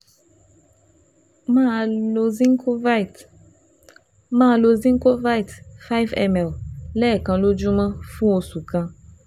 Máa lo Zincovit Máa lo Zincovit five ml lẹ́ẹ̀kan lójúmọ́ fún oṣù kan